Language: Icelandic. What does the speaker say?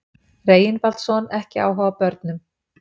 Reginbaldsson ekki áhuga á börnum.